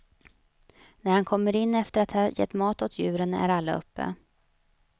När han kommer in efter att ha gett mat åt djuren, är alla uppe.